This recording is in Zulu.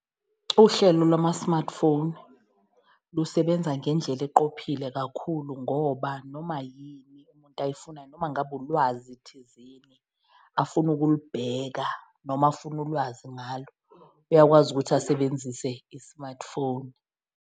Uhlelo lwama-smartphone lusebenza ngendlela eqophile kakhulu ngoba noma yini umuntu ayifunayo, noma ngabe ulwazi thizeni afuna ukulibheka noma afuna ulwazi ngalo uyakwazi ukuthi asebenzise i-smartphone.